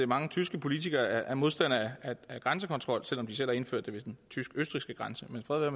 mange tyske politikere er modstandere af grænsekontrol selv om de selv har indført det ved den tysk østrigske grænse men fred